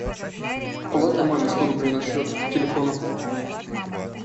положи маме сто рублей на счет телефона